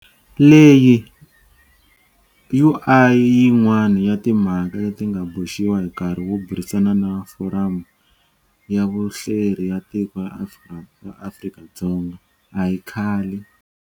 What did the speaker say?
Leyi u a yin'wana ya timhaka leti nga boxiwa hi nkarhi wo burisana na Foramu ya Vuhleri ya Tiko ra Afrika-Dzonga a hi khale.